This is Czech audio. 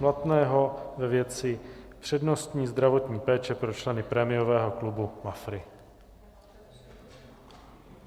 Blatného ve věci přednostní zdravotní péče pro členy prémiového klubu Mafra.